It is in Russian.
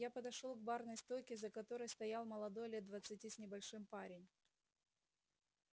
я подошёл к барной стойке за которой стоял молодой лет двадцати с небольшим парень